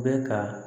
Bɛ ka